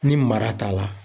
Ni mara t'a la